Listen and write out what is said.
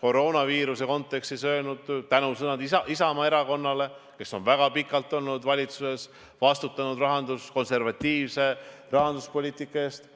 koroonaviiruse kontekstis öelnud tänusõnu Isamaa Erakonnale, kes on väga pikalt olnud valitsuses ja vastutanud konservatiivse rahanduspoliitika eest.